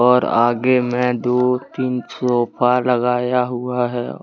और आगे में दो तीन सोफा लगाया हुआ है।